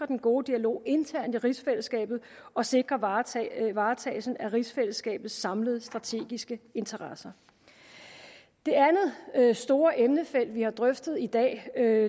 den gode dialog internt i rigsfællesskabet og sikre varetagelsen varetagelsen af rigsfællesskabets samlede strategiske interesser det andet store emnefelt vi har drøftet i dag er